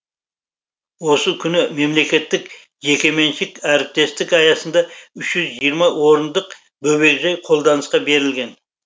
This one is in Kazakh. осы күні мемлекеттік жекеменшік әріптестік аясында үш жүз жиырма орындық бөбекжай қолданысқа берілген